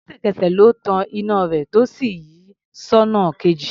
Lẹ́sẹ̀kẹsẹ̀ ló tan iná rẹ̀ tó sì yí sọ́nà kejì.